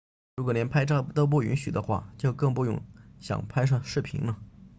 如果连拍照都不允许的话就更不用想拍摄视频了